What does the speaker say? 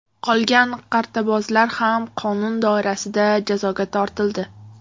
Qolgan qartabozlar ham qonun doirasida jazoga tortildi.